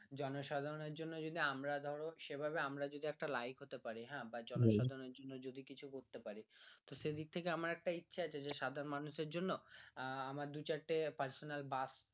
জনসাধারণএর জন্য যদি আমরা ধরো সেভাবে আমরা যদি একটা like হতে পারি হ্যাঁ বা জনসাধারন এর জন্য যদি কিছু করতে পারি তো সেদিক থেকে আমার একটা ইচ্ছে আছে যে সাধারণ মানুষ এর জন্য আহ আমার দু চারটে personal বাস